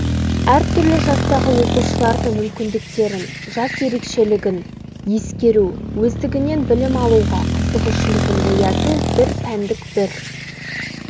әр түрлі жастағы оқушылардың мүмкіндіктерін жас ерекшелігін ескеру өздігінен білім алуға қызығушылығын ояту бір пәндік бір